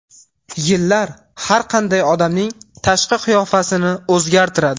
Yillar har qanday odamning tashqi qiyofasini o‘zgartiradi.